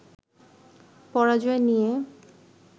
পরাজয় নিয়ে